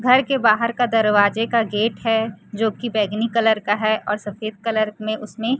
घर के बाहर का दरवाजे का गेट है जो की बैगनी कलर का है और सफेद कलर में उसमें --